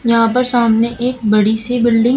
यहाँ पर सामने एक बड़ी सी बिल्डिंग --